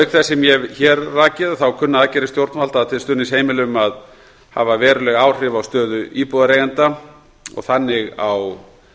auk þess sem ég hef hér rakið kunna aðgerðir stjórnvalda til stuðnings heimilum að hafa veruleg áhrif á stöðu íbúðareigenda og þannig á